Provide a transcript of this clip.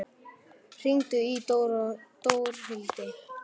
Blævar, hringdu í Dórhildi.